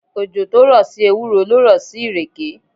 Òjò tó rọ̀ sí ewúro ló rọ̀ sí ìrèké.